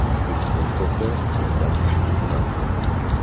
Prezident esa bundan achchiqlandi ham.